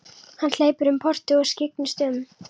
Hann hleypur um portið og skyggnist um.